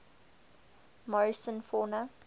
morrison fauna